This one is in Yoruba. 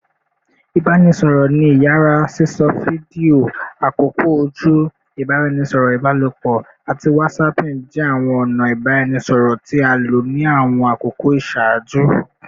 Ibaraẹnisọrọ ni iyara, sisọ fidio, akoko oju, ibaraẹnisọrọ ibalopọ, ati whatsapping jẹ awọn ọna ibaraẹnisọrọ ti a lo ni awọn akoko iṣaaju